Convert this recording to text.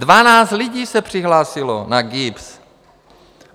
Dvanáct lidí se přihlásilo na GIBS.